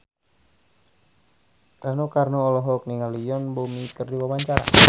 Rano Karno olohok ningali Yoon Bomi keur diwawancara